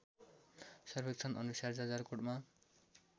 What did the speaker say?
सर्वेक्षण अनुसार जाजरकोटमा